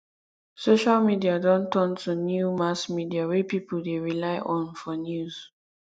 social media don turn to new mass media wey people dey rely on for news